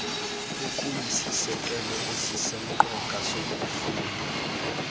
okuyisisekelo esisemqoka sokufunda